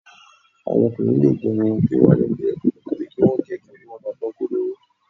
Àwọn ọkùnrin lè gẹ irun wọn kó wálẹ̀ díẹ̀ tàbí kí wọ́n gẹ̀ ẹ́ kí orí wọn máa dán kodoro